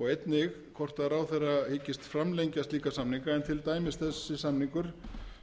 og einnig hvort ráðherra hyggist framlengja slíka samninga en til dæmis þessi samningur